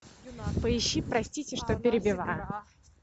поищи простите что перебиваю